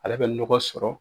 Ale bɛ nɔgɔ sɔrɔ.